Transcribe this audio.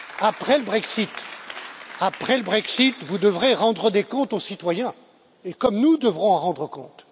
Après le Brexit, vous devrez rendre des comptes aux citoyens, comme nous devrons en rendre compte.